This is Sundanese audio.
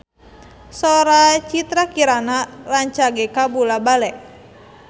Sora Citra Kirana rancage kabula-bale